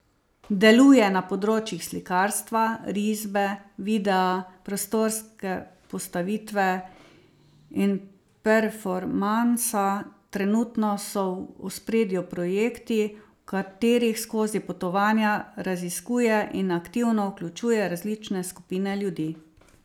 Deluje na področjih slikarstva, risbe, videa, prostorske postavitve in performansa, trenutno so v ospredju projekti, v katerih skozi potovanja raziskuje in aktivno vključuje različne skupine ljudi.